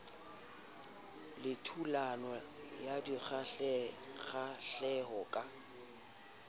le thulano ya dikgahleho ka